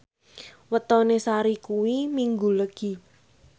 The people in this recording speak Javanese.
wetone Sari kuwi Minggu Legi